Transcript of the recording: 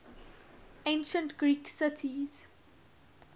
ancient greek cities